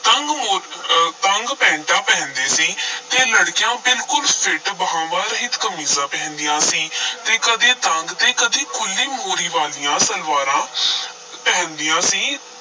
ਤੰਗ ਮੋ ਅਹ ਤੰਗ ਪੈਂਟਾ ਪਹਿਨਦੇ ਸੀ ਤੇ ਲੜਕੀਆਂ ਬਿਲਕੁਲ ਫਿੱਟ ਬਾਹਵਾਂ ਰਹਿਤ ਕਮੀਜ਼ਾਂ ਪਹਨਦੀਆਂ ਸੀ ਤੇ ਕਦੀ ਤੰਗ ਤੇ ਕਦੀ ਖੁੱਲ੍ਹੀ ਮੋਹਰੀ ਵਾਲੀਆਂ ਸਲਵਾਰਾਂ ਪਹਿਨਦੀਆਂ ਸੀ।